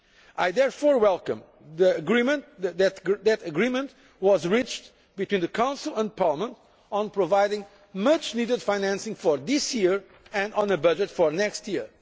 I therefore welcome the fact that agreement has been reached between the Council and Parliament on providing much needed financing for this year and on a budget for next year.